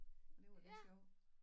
Og det var lidt sjovt